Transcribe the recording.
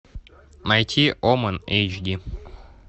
найти омен эйч ди